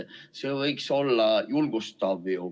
See võiks ju julgustav olla.